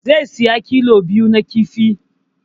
Zai saya kilo biyu na kifi